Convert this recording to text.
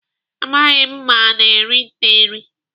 Amaghị m ma ana eri nte eri.